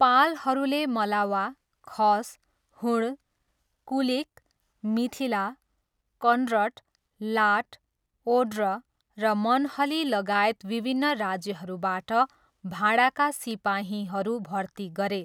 पालहरूले मलावा, खस, हुण, कुलिक, मिथिला, कन्रट, लाट, ओड्र र मनहलीलगायत विभिन्न राज्यहरूबाट भाडाका सिपाहीहरू भर्ती गरे।